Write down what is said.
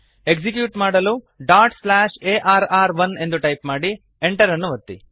execute ಮಾಡಲು arr1ಡಾಟ್ slash A R R one ಎಂದು ಟೈಪ್ ಮಾಡಿ Enter ಅನ್ನು ಒತ್ತಿ